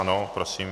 Ano, prosím.